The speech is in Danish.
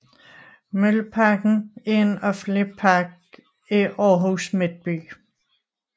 Mølleparken er en offentlig park i Århus Midtby